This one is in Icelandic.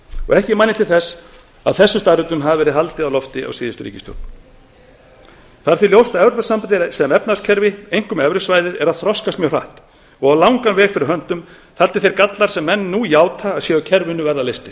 ekki man ég til þess að þessum staðreyndum hafi verið haldið á lofti af síðustu ríkisstjórn það er því ljóst að evrópusambandið sem efnahagskerfi einkum evrusvæðið er að þroskast mjög hratt og á langan veg fyrir höndum þar til þeir gallar sem menn nú játa að séu á kerfinu verða leystir